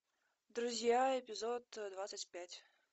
друзья эпизод двадцать пять